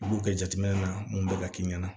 U b'u kɛ jateminɛ na mun bɛ ka k'i ɲɛna